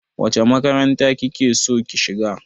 Wace makaranta ki ke so ki shiga?